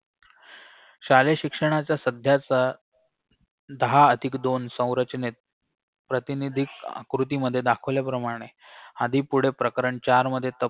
शालेय शिक्षणाचा सध्याचा दहा अधिक दोन संरचनेत प्रातिनिधिक कृती मध्ये दाखवल्याप्रमाणे आधी पुढे प्रकरण चार मध्ये तप